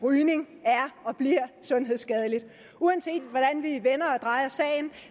rygning er og bliver sundhedsskadeligt uanset hvordan vi vender og drejer sagen